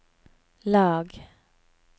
lag